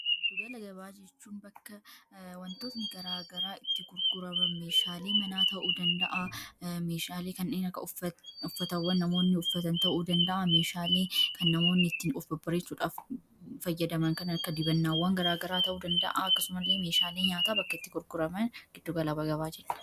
giddu gala gabaa jechuun bakka wantootni garaa garaa itti kurguraman meeshaalii manaa ta'uu danda'aa meeshaalii kan dhiakka uffatawwan namoonni uffatan ta'uu danda'a meeshaalii kan namoonni ittiin ofbabareesuudhaaf fayyadaman kanakka dibannaawwan garaa garaa ta'uu danda'a akkasumallee meeshaalii nyaata bakka itti kurguraman giddugalaa gabaaji